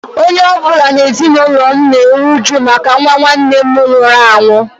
Onye ọ bụla n’ime ezinụlọ m na-eru uju maka nwa nwanne nna m nwụrụ anwụ.